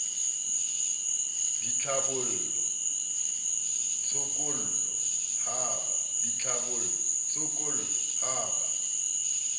a ditlhabollo tshokollo ha ba